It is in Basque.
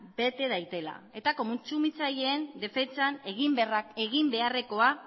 bete dadila eta kontsumitzaileen defentsan egin beharrekoa